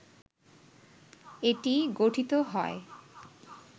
এটি গঠিত হয়